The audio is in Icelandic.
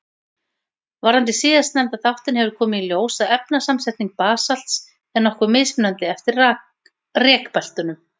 Varðandi síðastnefnda þáttinn hefur komið í ljós að efnasamsetning basalts er nokkuð mismunandi eftir rekbeltunum.